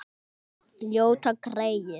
Ljóta greyið.